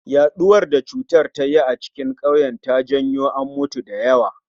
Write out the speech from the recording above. Yaɗuwar da cutar ta yi a cikin kauyen ta janyo an mutu da yawa